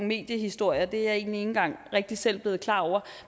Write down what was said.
mediehistorier er ikke engang rigtig selv blevet klar over